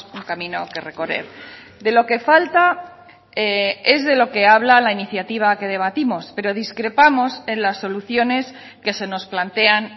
un camino que recorrer de lo que falta es de lo que habla la iniciativa que debatimos pero discrepamos en las soluciones que se nos plantean